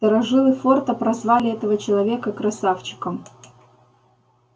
старожилы форта прозвали этого человека красавчиком